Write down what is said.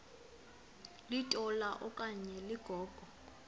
litola okanye ligogo